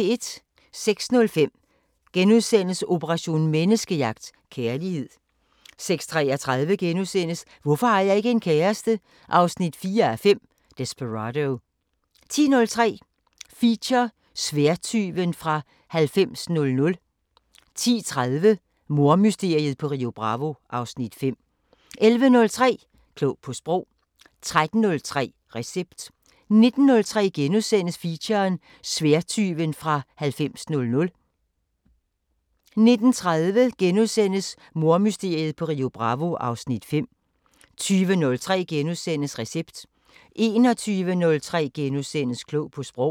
06:05: Operation Menneskejagt: Kærlighed * 06:33: Hvorfor har jeg ikke en kæreste? 4:5 – Desperado * 10:03: Feature: Sværdtyven fra 9000 10:30: Mordmysteriet på Rio Bravo (Afs. 5) 11:03: Klog på Sprog 13:03: Recept 19:03: Feature: Sværdtyven fra 9000 * 19:30: Mordmysteriet på Rio Bravo (Afs. 5)* 20:03: Recept * 21:03: Klog på Sprog *